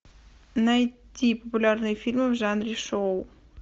найти популярные фильмы в жанре шоу